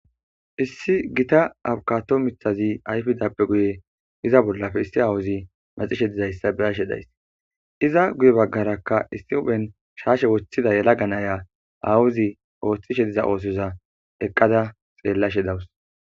issi gita abukato mithazi ayfidappe guye iza bollafe issi awuzi maxishe dizayssa beashe days iza guye baggarakka issi uphen shaashe woththida yela ganaya awuzi ooththishe diza oosoza eqqada xeellashe dawus